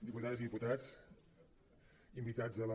diputades i diputats invitats a la